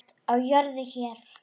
Þú gekkst á jörðu hér.